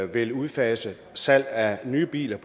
vil udfase salget af nye biler